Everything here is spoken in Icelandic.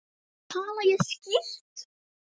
Tala ég skýrt?